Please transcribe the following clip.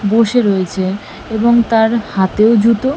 বসে রয়েছে এবং তার হাতেও জুতো।